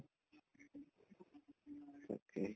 তাকেই